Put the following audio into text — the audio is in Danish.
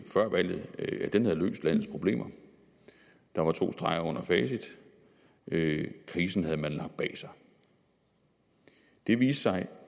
før valget at det havde løst landets problemer der var to streger under facit krisen havde man lagt bag sig det viste sig